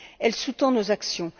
Elle sous tend nos actions.